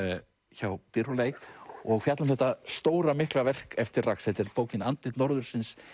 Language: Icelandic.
hjá Dyrhólaey og fjalla um þetta stóra mikla verk eftir RAX þetta er bókin andlit norðursins